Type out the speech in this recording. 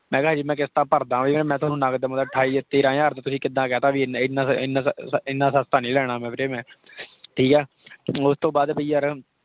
ਮੈਂ ਕਿਹਾ ਹਜੇ ਮੈਂ ਕਿਸਤਾਂ ਭਰਦਾ ਵੀ ਆ । ਮੈਂ ਤੁਹਾਨੂੰ ਨਗਦ ਮਤਲਬ ਅਠਾਈ, ਤੇਹਰਾਂ ਹਜ਼ਾਰ ਤੇ ਤੁਸੀਂ ਕਿੱਦਾਂ ਕਹਿਤਾ? ਏਨਾ ਵ ਇੰਨਾ ਵੀ ਇੰਨਾਂ ਸਸਤਾ ਨਹੀਂ ਲੇਣਾ ਮੈਂ ਵੀਰੇ ਮੈਂ, ਠੀਕ ਆ। ਓਸ ਤੋਂ ਬਾਅਦ ਬਾਈ ਯਾਰ,